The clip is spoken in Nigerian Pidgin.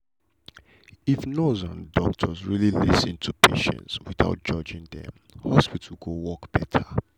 if nurse and doctor really lis ten to patient without judging dem hospital go work better.